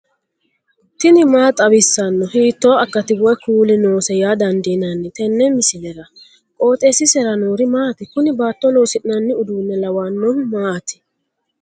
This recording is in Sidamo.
tini maa xawissanno ? hiitto akati woy kuuli noose yaa dandiinanni tenne misilera? qooxeessisera noori maati? kuni baatto loosi'nanni uduunne lawannohu maati